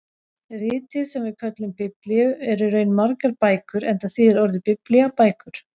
Ritið sem við köllum Biblíu er í raun margar bækur enda þýðir orðið biblía bækur.